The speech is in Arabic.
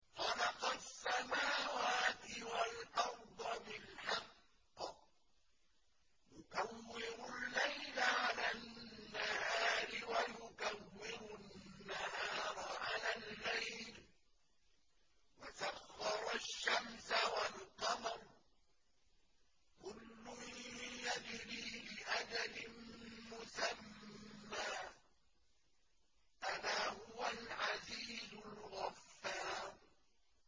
خَلَقَ السَّمَاوَاتِ وَالْأَرْضَ بِالْحَقِّ ۖ يُكَوِّرُ اللَّيْلَ عَلَى النَّهَارِ وَيُكَوِّرُ النَّهَارَ عَلَى اللَّيْلِ ۖ وَسَخَّرَ الشَّمْسَ وَالْقَمَرَ ۖ كُلٌّ يَجْرِي لِأَجَلٍ مُّسَمًّى ۗ أَلَا هُوَ الْعَزِيزُ الْغَفَّارُ